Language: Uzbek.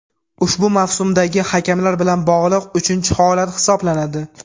ushbu mavsumdagi hakamlar bilan bog‘liq uchinchi holat hisoblanadi.